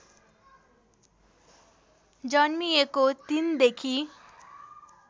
जन्मिएको ३ देखि